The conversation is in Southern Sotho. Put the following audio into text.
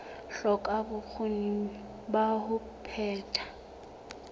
hloka bokgoni ba ho phetha